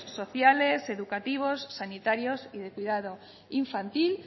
sociales educativos sanitarios y de cuidado infantil